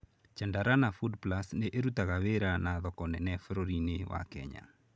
Chandarana Foodplus nĩ ĩrutaga wĩra na thoko nene bũrũriinĩ wa Kenya.